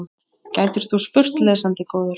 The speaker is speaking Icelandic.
gætir þú spurt, lesandi góður.